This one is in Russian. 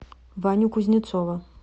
ваню кузнецова